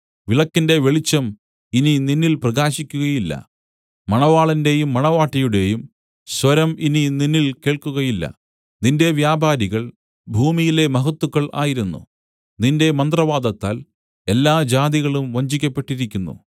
വിളക്കിന്റെ വെളിച്ചം ഇനി നിന്നിൽ പ്രകാശിക്കുകയില്ല മണവാളന്റെയും മണവാട്ടിയുടെയും സ്വരം ഇനി നിന്നിൽ കേൾക്കുകയില്ല നിന്റെ വ്യാപാരികൾ ഭൂമിയിലെ മഹത്തുക്കൾ ആയിരുന്നു നിന്റെ മന്ത്രവാദത്താൽ എല്ലാ ജാതികളും വഞ്ചിക്കപ്പെട്ടിരുന്നു